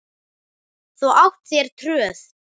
Þú átt þér tröð.